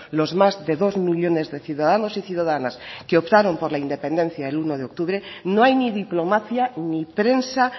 los más de dos millónes de ciudadanos y ciudadanas que optaron por la independencia el uno de octubre no hay ni diplomacia ni prensa